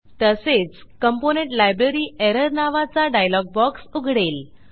तसेच component library error नावाचा dialog box उघडेल